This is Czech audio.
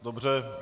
Dobře.